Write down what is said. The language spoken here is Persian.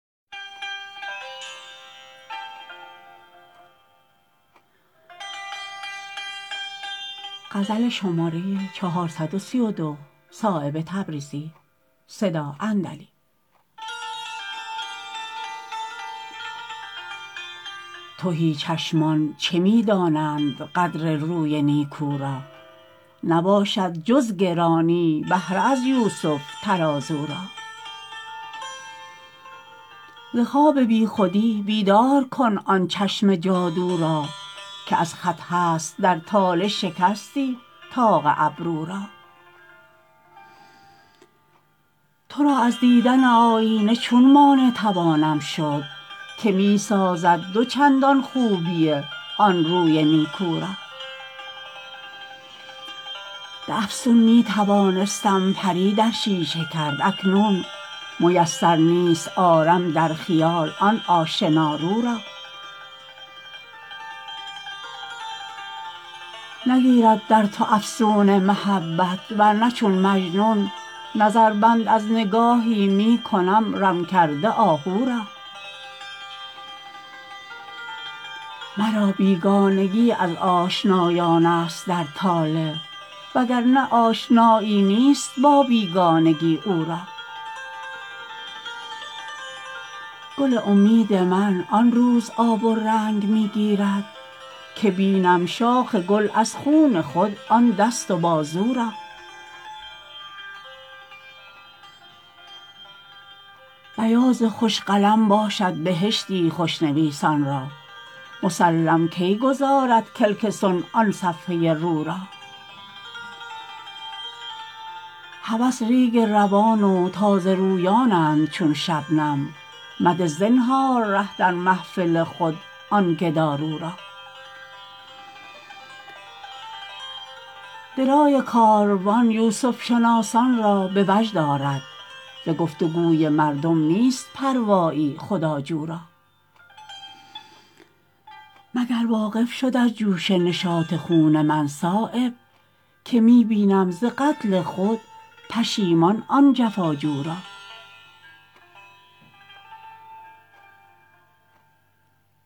تهی چشمان چه می دانند قدر روی نیکو را نباشد جز گرانی بهره از یوسف ترازو را ز خواب بی خودی بیدار کن آن چشم جادو را که از خط هست در طالع شکستی طاق ابرو را ترا از دیدن آیینه چون مانع توانم شد که می سازد دو چندان خوبی آن روی نیکو را به افسون می توانستم پری در شیشه کرد اکنون میسر نیست آرم در خیال آن آشنا رو را نگیرد در تو افسون محبت ورنه چون مجنون نظربند از نگاهی می کنم رم کرده آهو را مرا بیگانگی از آشنایان است در طالع وگرنه آشنایی نیست با بیگانگی او را گل امید من آن روز آب و رنگ می گیرد که بینم شاخ گل از خون خود آن دست و بازو را بیاض خوش قلم باشد بهشتی خوشنویسان را مسلم کی گذارد کلک صنع آن صفحه رو را هوس ریگ روان و تازه رویانند چون شبنم مده زنهار ره در محفل خود آن گدارو را درای کاروان یوسف شناسان را به وجد آرد ز گفت و گوی مردم نیست پروایی خداجو را مگر واقف شد از جوش نشاط خون من صایب که می بینم ز قتل خود پشیمان آن جفاجو را